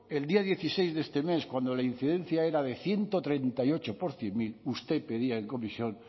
el día dieciséis de este mes cuando la incidencia era de ciento treinta y ocho por cien mil usted pedía en comisión